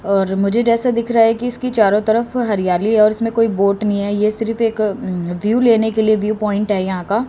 और मुझे जैसा दिख रहा है कि इसकी चारों तरफ हरियाली और उसमें कोई वोट नहीं है ये सिर्फ एक व्यू लेने के लिए व्यू प्वाइंट है यहां का--